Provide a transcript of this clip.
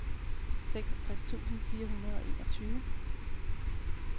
seksogtres tusind fire hundrede og enogtyve